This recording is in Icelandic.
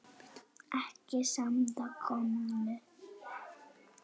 Ekki að svo komnu.